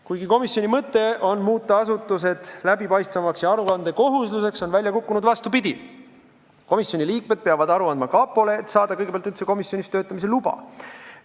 Kuigi komisjoni mõte on muuta asutused läbipaistvamaks ja aruandekohuslaseks, on välja kukkunud vastupidi: komisjoni liikmed peavad aru andma kapole, et saada üldse komisjonis töötamise luba.